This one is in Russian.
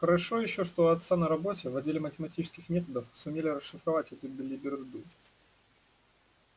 хорошо ещё что у отца на работе в отделе математических методов сумели расшифровать эту белиберду